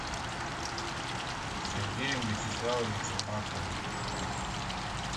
сергеем вячеславовичем маховым